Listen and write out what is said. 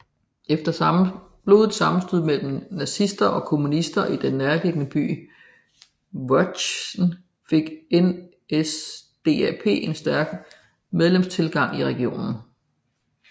Efter blodige sammenstød mellem nazister og kommunister i den nærliggende by Wöhrden fik NSDAP en stærk medlemstilgang i regionen